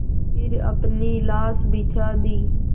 फिर अपनी लाश बिछा दी